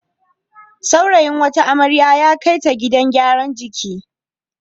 Saurayin wata amrya ya kai ta gidan gyaran jiki.